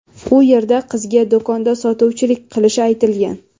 U yerda qizga do‘konda sotuvchilik qilishi aytilgan.